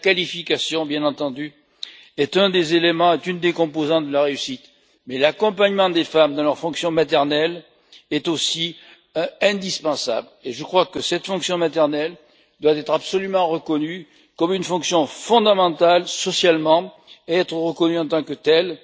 La qualification, bien entendu, est une des composantes de la réussite, mais l'accompagnement des femmes dans leur fonction maternelle est aussi indispensable et je crois que cette fonction maternelle doit être absolument reconnue comme une fonction fondamentale socialement et être reconnue en tant que telle